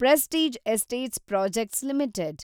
prestige Estates Projects limited